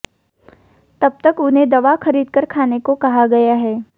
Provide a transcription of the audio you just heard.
तब तक उन्हें दवा खरीदकर खाने को कहा गया है